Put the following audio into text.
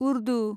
Urdu